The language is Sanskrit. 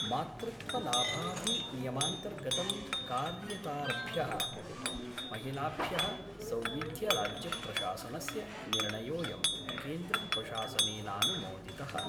मातृत्वलाभाधिनियमान्तर्गतं कार्यरताभ्यः महिलाभ्यः सौविध्यराज्यप्रशासनस्य निर्णयोयं केन्द्रप्रशासनेनानुमोदितः।